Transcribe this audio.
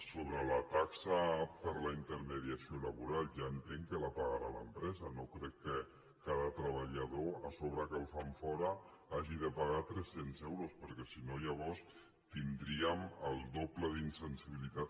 sobre la taxa per la intermediació laboral ja entenc que la pagarà l’empresa no crec que cada treballador a sobre que el fan fora hagi de pagar tres cents euros perquè si no llavors tindríem el doble d’insensibilitat